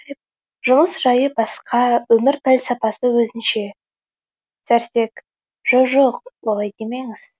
жұмыс жайы басқа өмір пәлсапасы өзінше сәрсек жо жоқ олай демеңіз